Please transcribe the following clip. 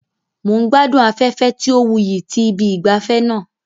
Mo n gbadun afẹfẹ ti o wuyi ti ibi ìgbafé naa